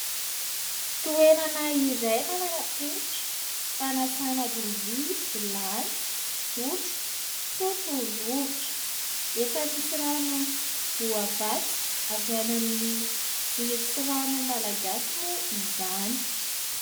Toerana iray manarapenitra fanasana lovia, vilany, sotro, sotro rovitra efa misy rano voavatsy avy any amin'ny jiro sy rano malagasy moa izany.